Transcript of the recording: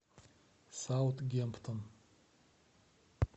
саутгемптон